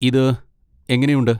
ഇത് എങ്ങനെയുണ്ട്?